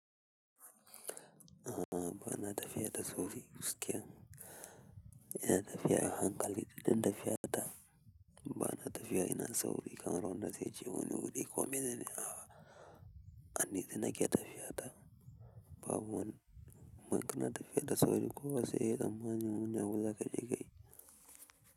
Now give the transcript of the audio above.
A'a bana tafiya da sauri. Gaskiya, ina tafiya a hankali, duk inda tafiya ta, bana tafiya ina sauri. Kamar wanda zai je wani wuri ko mainene a'a a nutse nake tafiya ta. Babu man, mana tafiya da sauri. Kowa sai yayi tsammanin wani abu zakaje kayi.